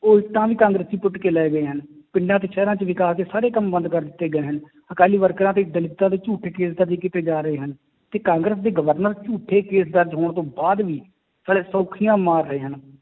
ਉਹ ਇੱਟਾਂ ਵੀ ਕਾਂਗਰਸੀ ਪੁੱਟ ਕੇ ਲੈ ਗਏ ਹਨ, ਪਿੰਡਾਂ ਤੇ ਸ਼ਹਿਰਾਂ 'ਚ ਵਿਕਾਸ ਦੇ ਸਾਰੇ ਕੰਮ ਬੰਦ ਕਰ ਦਿੱਤੇ ਗਏ ਹਨ, ਅਕਾਲੀ ਵਰਕਰਾਂ ਤੇ ਦਲਿੱਤਾਂ ਤੇ ਝੂਠੇ case ਦਰਜ਼ ਕੀਤੇ ਜਾ ਰਹੇ ਹਨ, ਤੇ ਕਾਂਗਰਸ ਦੇ ਗਵਰਨਰ ਝੂਠੇ case ਦਰਜ਼ ਹੋਣ ਤੋਂ ਬਾਅਦ ਵੀ ਸਾਲੇ ਸੌਖੀਆਂ ਮਾਰ ਰਹੇ ਹਨ,